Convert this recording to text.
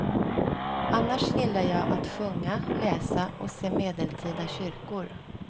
Annars gillar jag att sjunga, läsa och se medeltida kyrkor.